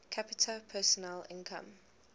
capita personal income